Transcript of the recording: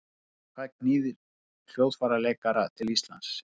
Hvað knýr hljóðfæraleikara til Íslands?